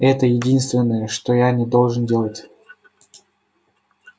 это единственное чего я не должен делать